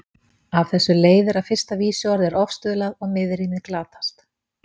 Af þessu leiðir að fyrsta vísuorð er ofstuðlað og miðrímið glatast.